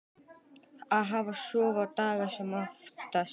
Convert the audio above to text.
Hafa svona daga sem oftast.